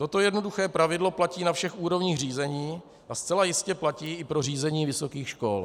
Toto jednoduché pravidlo platí na všech úrovních řízení a zcela jistě platí i pro řízení vysokých škol.